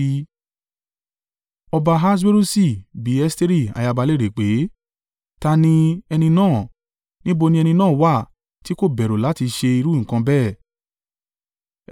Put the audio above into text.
Ọba Ahaswerusi bi Esteri ayaba léèrè pé, “Ta a ni ẹni náà? Níbo ni ẹni náà wà tí kò bẹ̀rù láti ṣe irú nǹkan bẹ́ẹ̀?”